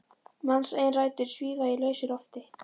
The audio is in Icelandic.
Manns eigin rætur svífa í lausu lofti.